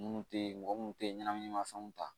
Minnu tɛ mɔgɔ minnu tɛ ɲɛnaminimafɛnw ta